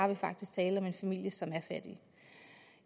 der faktisk tale om en familie som er fattig